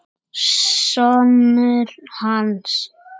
Sonur hans!